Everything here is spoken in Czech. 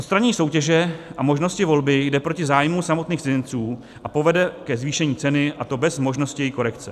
Odstranění soutěže a možnosti volby jde proti zájmu samotných cizinců a povede ke zvýšení ceny, a to bez možnosti její korekce.